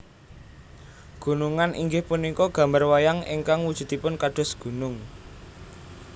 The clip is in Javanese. Gunungan inggih punika gambar wayang ingkang wujudipun kados gunung